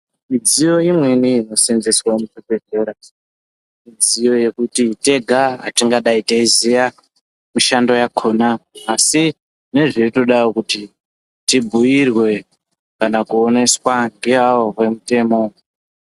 Midziyo imweni inosenzeswa muzvibhehleya midziyo yekuti tenga atingadei teiziya mishando yakona asi zvinenge zveitodawo tibhiirwe kana kuoneswa ngeavo vemutemo.